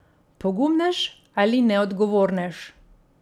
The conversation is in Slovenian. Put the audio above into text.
Pogumnež ali neodgovornež?